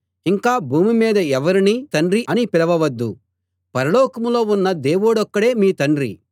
ఇంకా భూమిమీద ఎవరినీ తండ్రి అని పిలవవద్దు పరలోకంలో ఉన్న దేవుడొక్కడే మీ తండ్రి